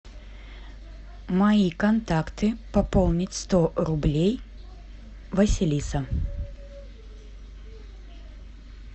мои контакты пополнить сто рублей василиса